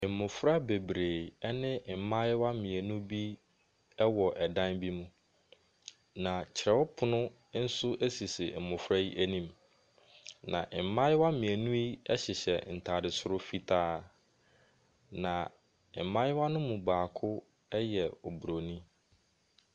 Asukuufo mmofra a wɔahyia ahɔho wɔ dan bi mu. Ebi tete ɔpono bi anim. Ababaa kɔkɔɔ no kura abofra baako mu. Abofra no kura envlope. Mmofra no aka no nyinaa rehwɛ ababaa kkɔɔ no. Mmofra no bi de ade akatakata wɔn ti.